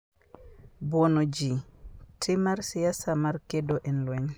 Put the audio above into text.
Buono Ji: Tim mar siasa mar kedo e lweny